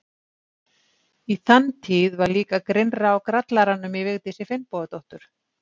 Í þann tíð var líka grynnra á grallaranum í Vigdísi Finnbogadóttur.